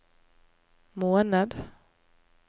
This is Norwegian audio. måned